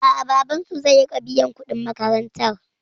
A'a, babansu zai riƙa biyan kuɗin makarantar.